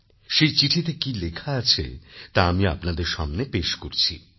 সেই চিঠিতে কি লেখা আছে তা আমি আপনাদের সামনে পেশ করছি